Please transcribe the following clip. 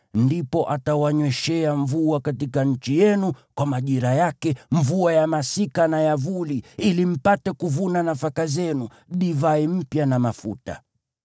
ndipo atawanyweshea mvua katika nchi yenu kwa majira yake, mvua ya masika na ya vuli, ili mpate kuvuna nafaka zenu, divai mpya na mafuta.